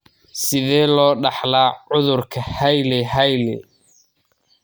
Sidee loo kala dhaxlaa cudurka Hailey Hailey?